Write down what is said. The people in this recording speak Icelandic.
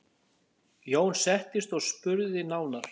Jón settist og spurði nánar.